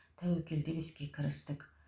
тәуекел деп іске кірістік